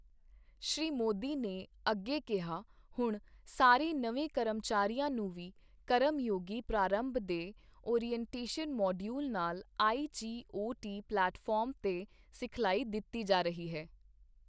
ਸ਼੍ਰੀ ਮੋਦੀ ਨੇ ਅੱਗੇ ਕਿਹਾ, ਹੁਣ, ਸਾਰੇ ਨਵੇਂ ਕਰਮਚਾਰੀਆਂ ਨੂੰ ਵੀ ਕਰਮਯੋਗੀ ਪ੍ਰਾਰੰਭ ਦੇ ਓਰੀਐਂਟੇਸ਼ਨ ਮੌਡਿਊਲ ਨਾਲ ਆਈਜੀਓਟੀ ਪਲੈਟਫਾਰਮ ਤੇ ਸਿਖਲਾਈ ਦਿੱਤੀ ਜਾ ਰਹੀ ਹੈ।